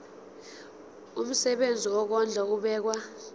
umsebenzi wokondla ubekwa